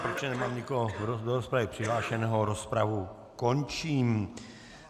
Protože nemám nikoho do rozpravy přihlášeného, rozpravu končím.